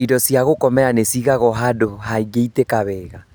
Indo cia gũkomera nĩcigagwo handũ hangĩitĩka wega